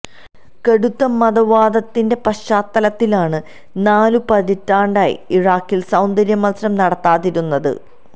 കടുത്ത മതവാദത്തിന്റെ പശ്ചാത്തലത്തിലാണ് നാലു പതിറ്റാണ്ടായി ഇറാഖില് സൌന്ദര്യ മത്സരം നടത്താതിരുന്നത്